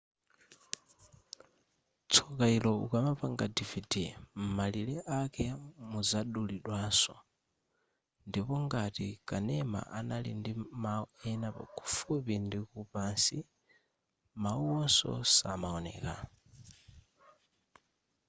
tsoka ilo ukamapanga dvd m'malire ake muzadulidwaso ndipo ngati kanema anali ndi mau ena kufupi ndikupansi mauwonso samaoneka